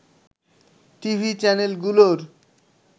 TV চ্যানেলগুলোর